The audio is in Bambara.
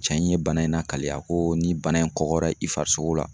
Cɛ in ye bana in lakale, a ko ni bana in kɔgɔra i farisogo la